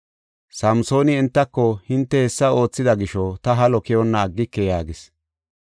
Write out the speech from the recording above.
Samsooni entako, “Hinte hessa oothida gisho ta halo keyonna aggike” yaagis.